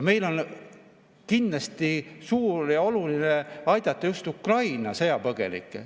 Meil on kindlasti oluline aidata just Ukraina sõjapõgenikke.